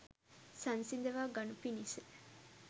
සංසිඳවා ගනු පිණිස